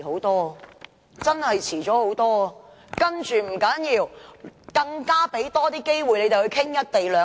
但這也不要緊，因為他們有更多機會討論"一地兩檢"。